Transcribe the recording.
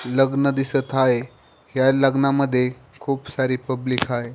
लग्न दिसत आहे ह्या लग्नामध्ये खूप सारी पब्लिक आहे.